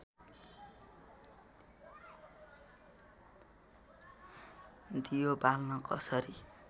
दियो बाल्न कसरी